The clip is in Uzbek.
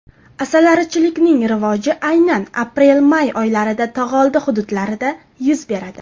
Asalarichilikning rivoji aynan aprelmay oylarida tog‘oldi hududlarida yuz beradi.